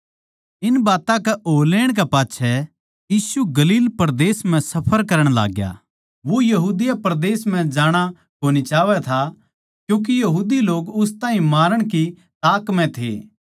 इन बात्तां कै हो लेण कै पाच्छै यीशु गलील परदेस म्ह सफर करण लाग्या वो यहूदिया परदेस म्ह जाणा कोनी चाहवै था क्यूँके यहूदी लोग उस ताहीं मारण की ताक म्ह थे